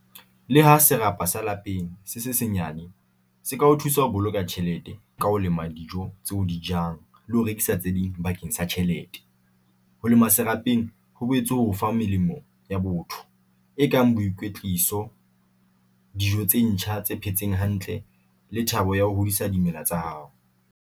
Le ha serapa sa lapeng se se senyane se ka o thusa ho boloka tjhelete ka ho lema dijo tse o di jang le ho rekisa tse ding bakeng sa tjhelete ho lema se lapeng. Ho boetse ho fa melemo ya botho e kang boikwetliso, dijo tse ntjha tse phetseng hantle, le thabo ya ho hodisa dimela tsa hao.